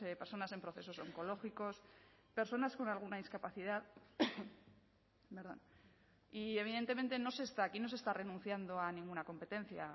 personas en procesos oncológicos personas con alguna discapacidad y evidentemente no se está aquí no se está renunciando a ninguna competencia